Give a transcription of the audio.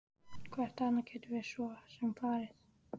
Hvert annað gætum við svo sem farið?